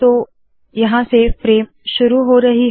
तो यहाँ से फ्रेम शुरू हो रही है